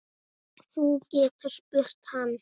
Þú getur spurt hann.